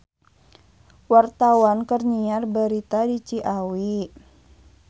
Wartawan keur nyiar berita di Ciawi